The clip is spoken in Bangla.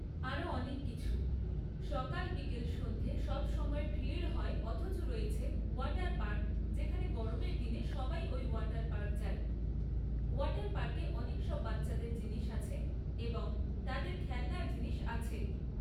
আরো অনেক কিছু সকাল বিকেল সন্ধ্যে সবসময় ভিড়ই হয় অথচ রয়েছে ওয়াটার পার্ক যেখানে গরমের দিনে সবাই এই ওয়াটার পার্ক যায় ওয়াটার পার্কে অনেক সব বাচ্চাদের জিনিস আছে এবং তাদের খেলনার জিনিস আছে